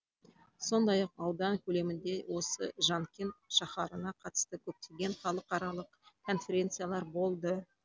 сондай ақ аудан көлемінде осы жанкент шаһарына қатысты көптеген халықаралық конференциялар болды